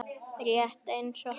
Rétt eins og hann.